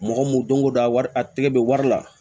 Mɔgɔ mun don ko don a wari a tigɛ bɛ wari la